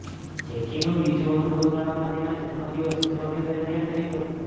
જેકીનું બીજું અનુભવ શાળામાં તેના જન્મદિવસ ઉજવણી દરમિયાન થયું હતું